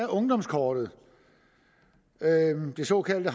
ungdomskortet det såkaldte